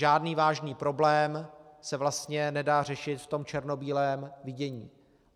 Žádný vážný problém se vlastně nedá řešit v tom černobílém vidění.